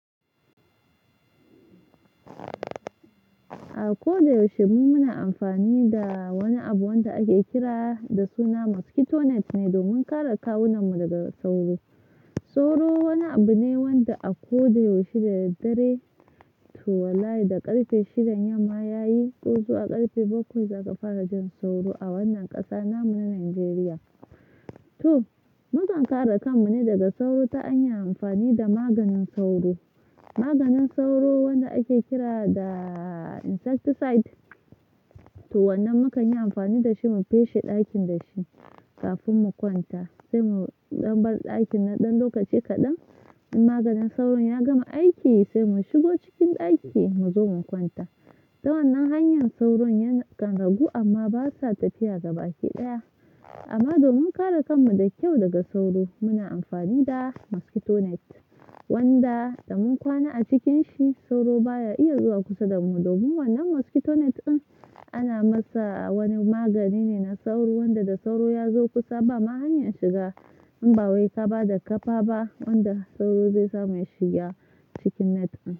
A ko da yaushe mu muna amfani da wani abu wanda ake kira da suna mosquito net ne domin kare kawunan mu daga sauro. Sauro wani abu ne wanda a ko da yaushe da daddare to wallahi da ƙarfe shidan yamma ya yi ɗazu a ƙarfe bakwai zaka fara jin sauro a wannan ƙasa namu na Nijeriya. To, mukan kare kan mu ne daga sauro ta an yi amfani da maganin sauro. Maganin sauro wanda ake kira da insecticide. To wannan muka yi amfani da shi mu feshe ɗakin da shi kafin mu kwanta, sai mu ɗan bar ɗakin na ɗan lokaci kaɗan. In maganin sauro ya gama aiki sai mu shigo cikin ɗaki mu zo mu kwanta. Da wannan hanya sauro yakan ragu amma ba sa tafiya gabaɗaya. Amma domin kare kan mu da kyau daga sauro muna amfani da mosquito net wanda da mun kwana a cikin shi sauro baya iya zuwa kusa da mu. Domin wannan mosquito net in ana masa wani magani ne na sauro wanda da sauro ya zo kusa ba ma hanya shiga in ba wai kaba da ƙafa ba wanda sauro zai samu ya shiga cikin net din.